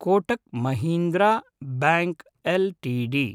Kotak Mahindra Bank LTD